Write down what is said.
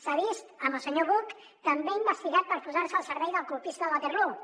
s’ha vist amb el senyor buch també investigat per posar se al servei del colpista de waterloo